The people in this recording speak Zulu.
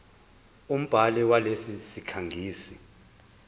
umbhali walesi sikhangisi